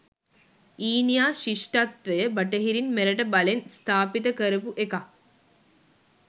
ඊනියා ශිෂ්ඨත්වය බටහිරින් මෙරට බලෙන් ස්ථාපිත කරපු එකක්